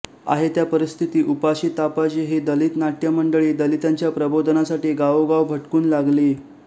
आहे त्या परिस्थिती उपाशीतापाशी ही दलित नाट्य मंडळी दलितांच्या प्रबोधनासाठी गावोगाव भटकून लागली